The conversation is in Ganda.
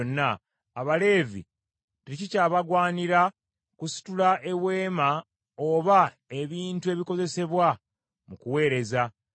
Abaleevi tekikyabagwaniranga kusitula eweema oba ebintu ebikozesebwa mu kuweereza.”